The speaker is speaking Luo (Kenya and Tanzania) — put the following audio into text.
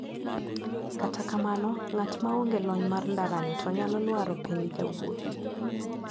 Kata kamano ng`at maonge lony mar ndarani to nyalo lwaro piny jawuoth.